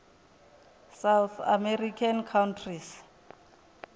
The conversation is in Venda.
south american countries